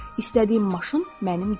İstədiyim maşın mənim deyil.